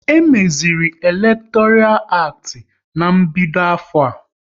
E meziri elektoral acti ná-mbido afọ a